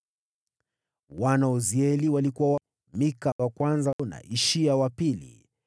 Wana wa Uzieli walikuwa: Mika wa kwanza na Ishia wa pili.